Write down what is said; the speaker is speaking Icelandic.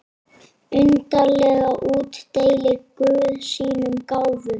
Undarlega útdeilir guð sínum gáfum.